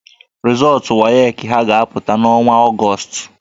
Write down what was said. Rịzọọtụ WAEC ha ga-apụta n'ọnwa Ọgọọst